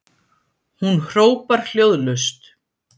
Hún hrópar hljóðlaust